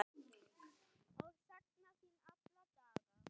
Ég sakna þín alla daga.